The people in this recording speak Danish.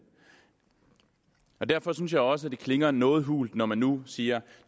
derfor synes jeg også det klinger noget hult når man så nu siger